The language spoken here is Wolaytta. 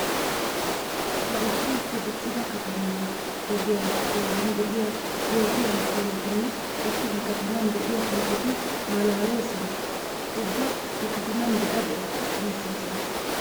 Laa issi issi diccida katamaa ogiya doonan de'iya poo'iya amppuuletinne qassi he kataman de'iya pooqeti malaalissoosona. Ubba he kataman de'a de'a giissoosona.